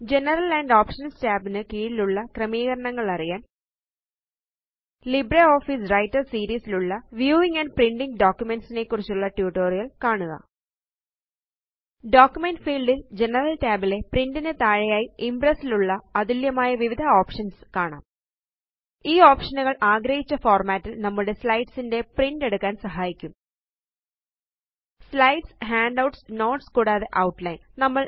general and options tabs ന് കീഴിലുള്ള ക്രമീകരണങ്ങളറിയാന് ലിബ്രെ ഓഫീസ് വ്രൈട്ടർ സീരീസ് ലുള്ള വ്യൂവിംഗ് ആൻഡ് പ്രിന്റിംഗ് ഡോക്യുമെന്റ്സ് നെക്കുറിച്ചുള്ള ട്യൂട്ടോറിയൽ കാണുക ഡോക്യുമെന്റ് ഫീൽഡ് ല് ജനറൽ tab ലെ പ്രിന്റ് നുതാഴെയായി ഇംപ്രസ് ള്ള അതുല്യമായ വിവിധ ഓപ്ഷൻസ് കാണാം ഈ ഓപ്ഷനുകള് ആഗ്രഹിച്ച ഫോർമാറ്റ് ല് നമ്മുടെ സ്ലൈഡ്സ് ന്റെ പ്രിന്റ് എടുക്കാന് സഹായിക്കും സ്ലൈഡ്സ് ഹാൻഡൌട്ട്സ് നോട്ട്സ് കൂടാതെ ഔട്ട്ലൈൻ